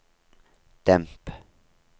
demp